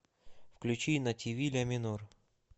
включи на ти ви ля минор